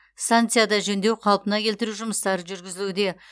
станцияда жөндеу қалпына келтіру жұмыстары жүргізілуде